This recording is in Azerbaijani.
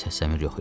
Səs-səmir yox idi.